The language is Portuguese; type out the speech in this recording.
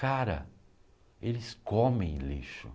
Cara, eles comem lixo.